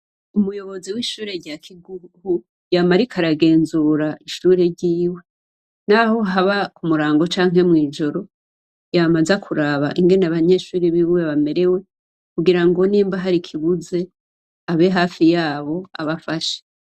Umuyobozi wishure rya Kigugu ,yama ariko aragenzura ishure ryiwe, naho haba kumurango canke mwijoro yama aza kuraba uko abanyeshure biwe bamerewe kugirango nimba hari ikibuze ngo ababe hafi yabo abafashe.